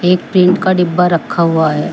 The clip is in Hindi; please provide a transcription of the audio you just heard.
एक टीन का डब्बा रखा हुआ है।